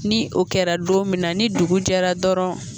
Ni o kɛra don min na ni dugu jɛra dɔrɔn